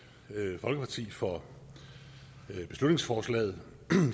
folkeparti for beslutningsforslaget